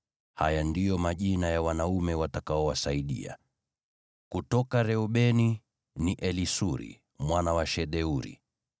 Haya ndiyo majina ya wanaume watakaowasaidia: “kutoka Reubeni, ni Elisuri mwana wa Shedeuri;